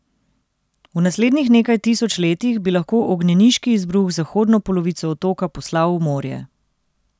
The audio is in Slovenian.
V naslednjih nekaj tisoč letih bi lahko ognjeniški izbruh zahodno polovico otoka poslal v morje.